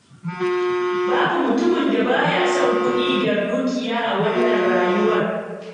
Babu mutumin da ba ya son kuɗi da dukiya a wannan rayuwar.